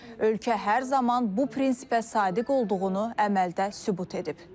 Ölkə hər zaman bu prinsipə sadiq olduğunu əməldə sübut edib.